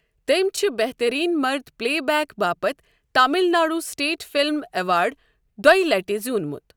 تٔمۍ چھُ بہتٕرین مرد پلے بیک باپتھ Tamil Nadu state film award دۄیِہ لَٹہِ زِیوٗنمُت۔